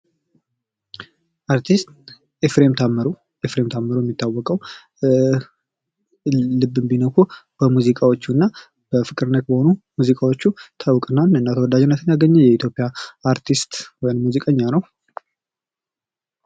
አርቲስት ኤፍሬም ታምሩ ኤፍሬም ታምሩ የሚታወቀው ልብን በሚነኩ ሙዚቃዎቹ እና በፍቅር ነክ በሆኑ ሙዚቃዎቹ የሚታወቅና ተወዳጅነትን ያገኘ የኢትዮጵያ አርቲስት ወይም ሙዚቀኛ ነው።